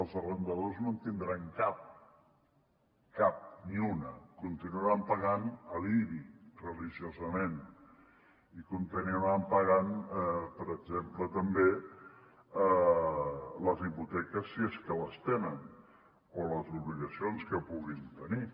els arrendataris no en tindran cap cap ni una continuaran pagant l’ibi religiosament i continuaran pagant per exemple també les hipoteques si és que les tenen o les obligacions que puguin tenir